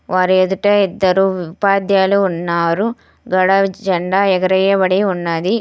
వారి ఎదుట ఇద్దరు ఉపాధ్యాయులు ఉన్నారు. గాడ జెండా ఎగరేయబడి ఉన్నది.